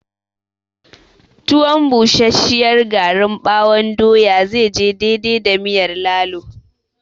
Tuwon busasshiyar garin ɓawon doya zai je daidai da miyar lalo